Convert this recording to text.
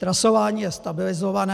Trasování je stabilizované.